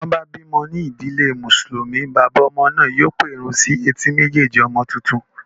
Tí wọ́n bá bí ọmọ ní ìdílé mùsùlùmí, bàbá ọmọ náà yóò pẹ̀run sí etí méjèèjì ọmọ tuntun